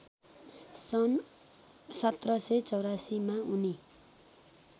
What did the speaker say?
सन् १७८४ मा उनी